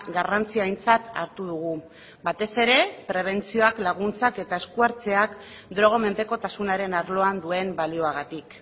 garrantzi aintzat hartu dugu batez ere prebentzioak laguntzak eta esku hartzeak droga menpekotasunaren arloan duen balioagatik